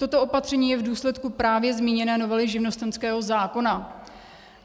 Toto opatření je v důsledku právě zmíněné novely živnostenského zákona.